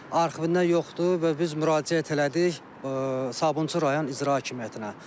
Arxivində yoxdur və biz müraciət elədik Sabunçu rayon İcra Hakimiyyətinə.